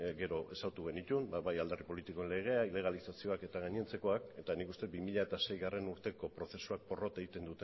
gero ezagutu genituen bai alderdi politikoen legea ilegalizazioak eta gainontzekoak eta nik uste bi mila seigarrena urteko prozesuak porrot egiten